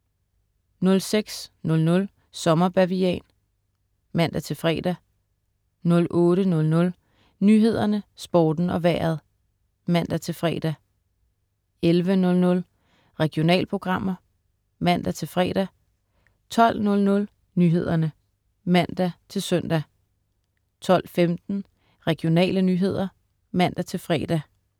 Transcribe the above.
06.00 Sommer Bavian (man-fre) 08.00 Nyhederne, Sporten og Vejret (man-fre) 11.00 Regionalprogrammer (man-fre) 12.00 Nyhederne (man-søn) 12.15 Regionale nyheder (man-fre)